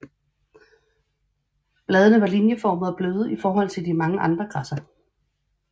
Bladene er linjeformede og bløde i forhold til mange andre græsser